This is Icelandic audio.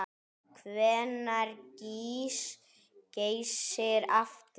Hvenær gýs Geysir aftur?